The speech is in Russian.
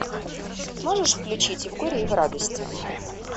можешь включить и в горе и в радости